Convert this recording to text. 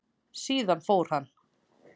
Síðan fór hann.